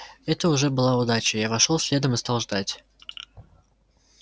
это уже была удача я вошёл следом и стал ждать